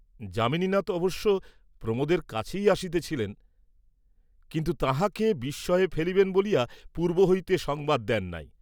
যামিনীনাথ অবশ্য প্রমোদের কাছেই আসিতেছিলেন, কিন্তু তাঁহাকে বিস্ময়ে ফেলিবেন বলিয়া পূর্ব্ব হইতে সংবাদ দেন নাই।